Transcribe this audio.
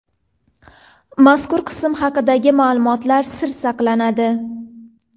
Mazkur qism haqidagi ma’lumotlar sir saqlanadi.